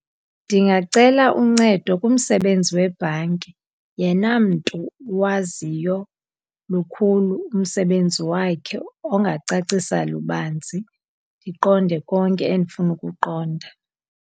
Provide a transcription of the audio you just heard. Ndingacela uncedo kumsebenzi webhanki yena mntu uwaziyo lukhulu umsebenzi wakhe, ongacacisa lubanzi ndiqonde konke endifuna ukukuqonda.